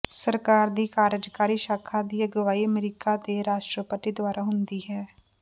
ਸਰਕਾਰ ਦੀ ਕਾਰਜਕਾਰੀ ਸ਼ਾਖਾ ਦੀ ਅਗਵਾਈ ਅਮਰੀਕਾ ਦੇ ਰਾਸ਼ਟਰਪਤੀ ਦੁਆਰਾ ਹੁੰਦੀ ਹੈ